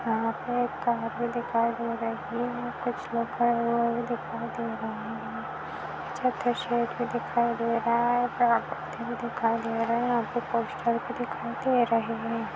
यहाँ पर कार भी दिखाई दे रही हैं यहाँ पे कुछ लोग भी दिखाई दे रहे हैं छत्रसेर भी दिखाई दे रहा हैं कला कृति भी दिखाई दे रहा हैंयहाँ पे दिखाई दे रहे हैं।